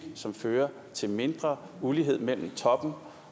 som fører til mindre ulighed mellem toppen